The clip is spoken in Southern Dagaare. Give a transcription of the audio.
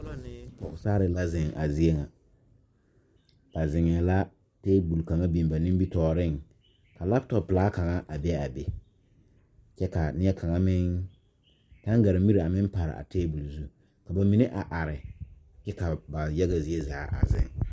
Bipɔlɔ ne pɔgesarre la zeŋ a zie ŋa ba zeŋɛɛ la ka tabol kaŋa biŋ ba nimitooreŋ ka laptɔp pilaa kaŋa a bee aa be kyɛ kaa nie kaŋa meŋ taŋgaremire a meŋ pare a tabol zu ka ba mine a are kyɛ ka ba yaga zie zaa a zeŋ.